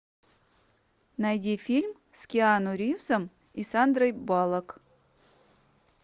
найди фильм с киану ривзом и сандрой баллок